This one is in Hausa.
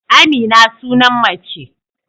Amina sunan mace